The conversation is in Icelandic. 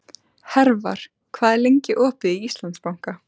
Hervar, hvað er lengi opið í Íslandsbanka?